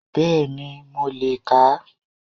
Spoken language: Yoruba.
Bẹ́ẹ̀ni mo lè kà á